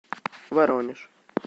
воронеж